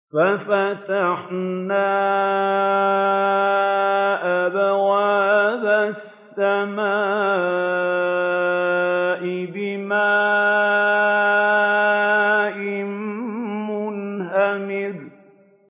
فَفَتَحْنَا أَبْوَابَ السَّمَاءِ بِمَاءٍ مُّنْهَمِرٍ